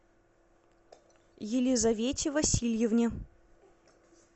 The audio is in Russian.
елизавете васильевне